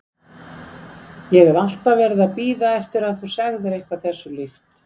Ég hef alltaf verið að bíða eftir að þú segðir eitthvað þessu líkt.